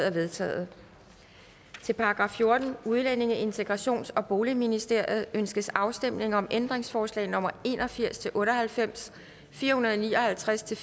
er vedtaget til § fjortende udlændinge integrations og boligministeriet ønskes afstemning om ændringsforslag nummer en og firs til otte og halvfems fire hundrede og ni og halvtreds til